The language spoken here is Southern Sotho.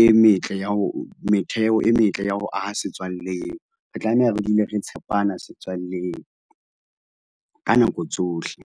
e metle ya ho, metheo e metle ya ho aha setswalle eo. Re tlameha re dule re tshepana setswalleng ka nako tsohle.